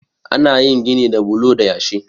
ana yin gini da bulo da yashi